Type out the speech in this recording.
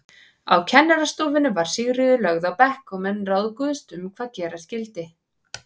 Á kennarastofunni var Sigríður lögð á bekk og menn ráðguðust um hvað gera skyldi.